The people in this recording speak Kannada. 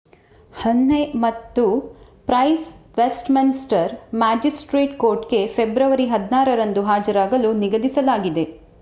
ಹಹ್ನೆ ಮತ್ತು ಪ್ರೈಸ್ ವೆಸ್ಟ್‌ಮಿನ್‌ಸ್ಟರ್‌ ಮ್ಯಾಜಿಸ್ಟ್ರೇಟ್ಸ್‌ ಕೋರ್ಟ್‌ಗೆ ಫೆಬ್ರವರಿ 16 ರಂದು ಹಾಜರಾಗಲು ನಿಗದಿಸಲಾಗಿದೆ